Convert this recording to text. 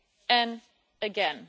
And again,